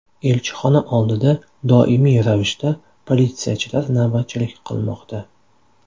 Elchixona oldida doimiy ravishda politsiyachilar navbatchilik qilmoqda.